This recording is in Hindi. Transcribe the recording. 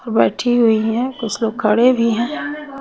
बैठी हुयी है कुछ लोग खड़े भी है।